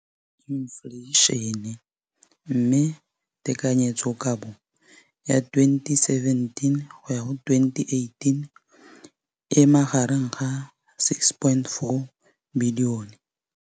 Infleišene, mme tekanyetsokabo ya 2017 le 2018 e magareng ga R6.4 bilione.